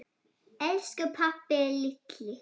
Elsku pabbi litli.